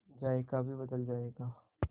जायका भी बदल जाएगा